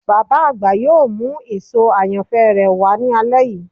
Baba agba yoo mu eso ayanfẹ rẹ wa ni alẹ yii